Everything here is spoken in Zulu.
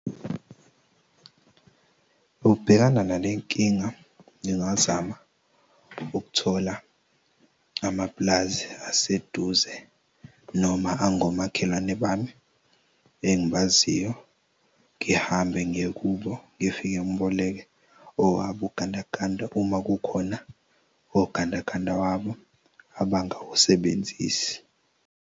Ukubhekana nalenkinga ngingazama ukuthola amapulazi aseduze noma angomakhelwane bami engibaziyo ngihambe ngiye kubo. Ngifike ngiboleke owabo ugandaganda uma kukhona ogandaganda wabo abangawusebenzisi.